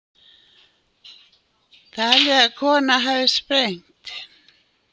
Talið að kona hafi sprengt